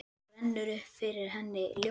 Þá rennur upp fyrir henni ljós.